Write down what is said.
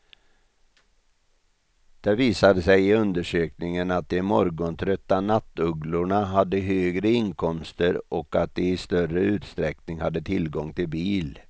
Det visade sig i undersökningen att de morgontrötta nattugglorna hade högre inkomster och att de i större utsträckning hade tillgång till bil.